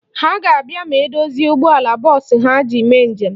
Ha ga-abịa ma e dozie ụgbọala bọọsụ ha ji eme njem.